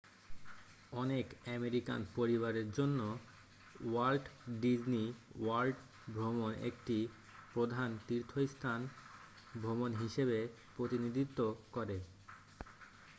অনেক আমেরিকান পরিবারের জন্য ওয়াল্ট ডিজনি ওয়ার্ল্ড ভ্রমণ একটি প্রধান তীর্থস্থান ভ্রমণ হিসেবে প্রতিনিধিত্ব করে